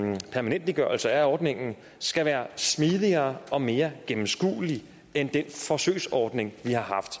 permanentliggørelse af ordningen skal være smidigere og mere gennemskuelig end den forsøgsordning vi har haft